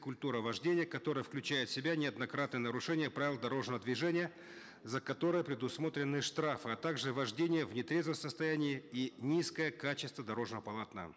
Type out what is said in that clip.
культура вождения которая включает в себя неоднократное нарушение правил дорожного движения за которое предусмотрены штрафы а также вождение в нетрезвом состоянии и низкое качество дорожного полотна